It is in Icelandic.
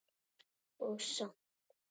Og samt.